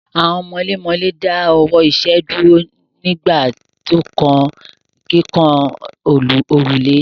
Àwọn mọlémọlẹ́ dáwọ́ iṣẹ́ dúró nígbà tí ó kan kíkan òrùlé.